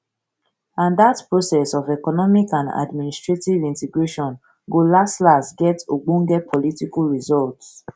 and dat process of economic and administrative integration go laslas get ogbonge political results